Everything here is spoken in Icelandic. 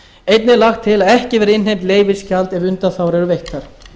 einnig er lagt til að ekki verði innheimt leyfisgjald ef undanþágur eru veittar